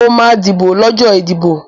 Mo máa dìbò lọ́jọ́ ìdìbò.